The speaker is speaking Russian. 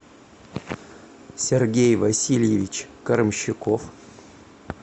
сергей васильевич карамщуков